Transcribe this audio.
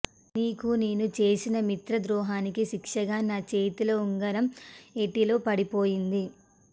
నీకు నేను చేసిన మిత్రద్రోహానికి శిక్షగా నా చేతి ఉంగారం ఏటిలో పడిపోయింది